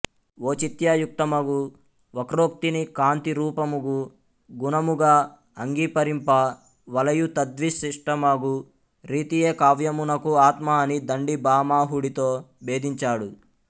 ఓచిత్యయుక్తమగు వక్రోక్తిని కాంతి రూపముగు గునముగ అంగీపరింప వలయు తద్విశిష్టమగు రీతియే కావ్యమునకు ఆత్మ అని దండి భామహుడితో భేదించాడు